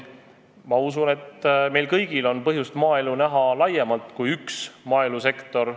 Ma usun, et meil kõigil on põhjust näha maaelu laiemalt, see pole vaid põllumajandussektor.